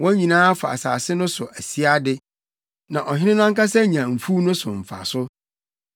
Wɔn nyinaa fa asase no so siade; na ɔhene no ankasa nya mfuw no so mfaso.